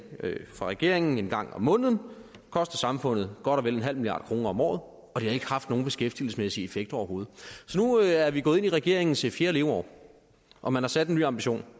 fra regeringen en gang om måneden det koster samfundet godt og vel en halv milliard kroner om året og det er ikke haft nogen beskæftigelsesmæssig effekt overhovedet nu er vi gået ind i regeringens fjerde leveår og man har sat en ny ambition